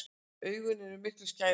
Augun eru miklu skærari.